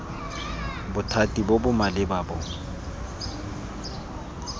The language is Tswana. bothati bo bo maleba bo